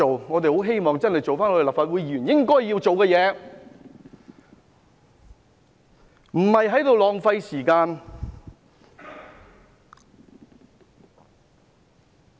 我們很希望立法會議員做回應該做的事，不要浪費時間。